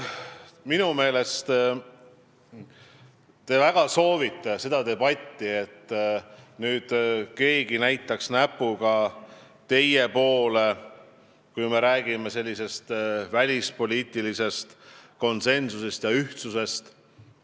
Minu meelest te väga soovite seda debatti, et keegi nüüd näitaks näpuga teie poole, kui me räägime välispoliitilisest konsensusest ja ühtsusest.